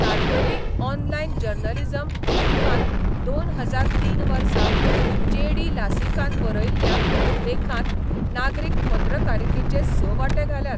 तालगडी online journalism रिव्हांत दोन हजार तीन वर्सा जे डी लासिकान बरयल्ल्या लेखांत नागरीक पत्रकारितेचे स वांटे घाल्यात.